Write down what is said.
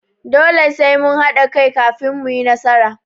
Dole sai mun haɗa kai kafin mu yi nasara.